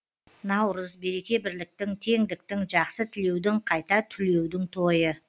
наурыз береке бірліктің теңдіктің жақсы тілеудің қайта түлеудің тойы